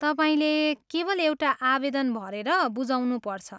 तपाईँले केवल एउटा आवेदन भरेर बुझाउनुपर्छ।